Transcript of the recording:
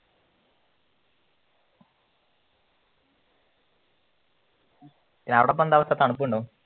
എന്താ അവസ്ഥ തണുപ്പുണ്ടോ